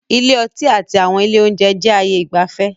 Ilé ọtí àti àwọn ilé oúnjẹ jẹ ayé ìgbafẹ́